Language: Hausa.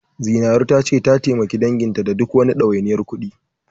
Zinaru ta ce, ta taimaki danginta da duk wani ɗawainiyar kuɗi.